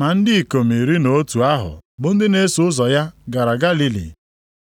Ma ndị ikom iri na otu ahụ bụ ndị na-eso ụzọ ya gara Galili,